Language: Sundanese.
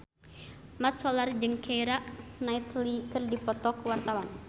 Mat Solar jeung Keira Knightley keur dipoto ku wartawan